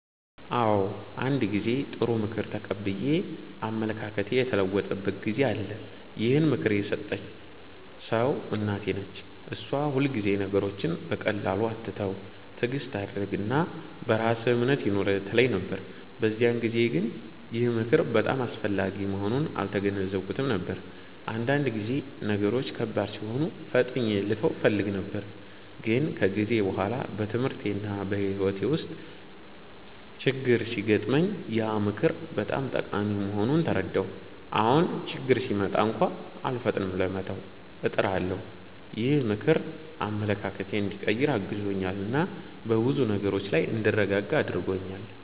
አዎ፣ አንድ ጊዜ ጥሩ ምክር ተቀብዬ አመለካከቴ የተለወጠበት ጊዜ አለ። ይህን ምክር የሰጠኝ ሰው እናቴ ነች። እሷ ሁልጊዜ “ነገሮችን በቀላሉ አትተው፣ ትዕግስት አድርግ እና በራስህ እምነት ይኑርህ” ትለኝ ነበር። በዚያን ጊዜ ግን ይህ ምክር በጣም አስፈላጊ መሆኑን አልተገነዘብኩትም ነበር፤ አንዳንድ ጊዜ ነገሮች ከባድ ሲሆኑ ፈጥኜ ልተው እፈልግ ነበር። ግን ከጊዜ በኋላ በትምህርቴና በሕይወቴ ውስጥ ችግኝ ሲገጥመኝ ያ ምክር በጣም ጠቃሚ መሆኑን ተረዳሁ። አሁን ችግኝ ሲመጣ እንኳን አልፈጥንም ለመተው፣ እጥራለሁ። ይህ ምክር አመለካከቴን እንዲቀይር አግዞኛል እና በብዙ ነገሮች ላይ እንድረጋጋ አድርጎኛል።